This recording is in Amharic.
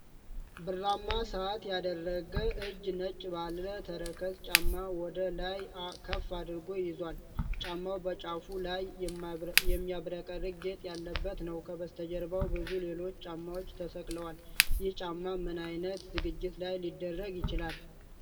ብርማ ሰዓት ያደረገ እጅ ነጭ ባለ ተረከዝ ጫማ ወደ ላይ ከፍ አድርጎ ይዟል። ጫማው በጫፉ ላይ የሚያብረቀርቅ ጌጥ ያለበት ነው። ከበስተጀርባው ብዙ ሌሎች ጫማዎች ተሰቅለዋል። ይህ ጫማ ምን ዓይነት ዝግጅት ላይ ሊደረግ ይችላል?